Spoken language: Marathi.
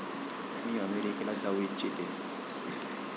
मी अमेरिकेला जाऊ इच्छिते.